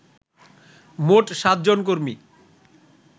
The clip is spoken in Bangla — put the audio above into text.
মোট সাতজন কর্মী